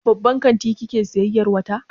A babban kanti kike sayayyar wata?